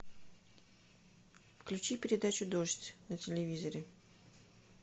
включи передачу дождь на телевизоре